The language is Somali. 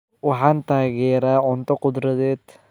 Waxaan taageeraa cunto khudradeed.